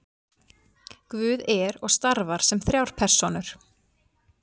guð er og starfar sem þrjár persónur